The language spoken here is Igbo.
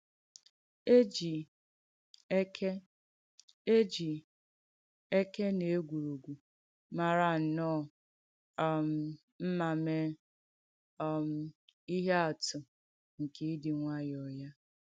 E jì èkè E jì èkè nà ègwùrùgwù màrà nnọ̀ọ̀ um mma mee um ìhé àtù nke ìdị̀ um nwàyọ̀ ya.